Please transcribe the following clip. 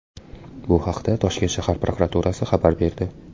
Bu haqda Toshkent shahar prokuraturasi xabar berdi .